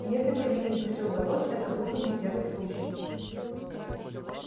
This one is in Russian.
и если бы регенту всё удалось это был бы не первый случай